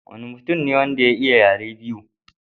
Waye mutum ne wanda ya iya yare biyu?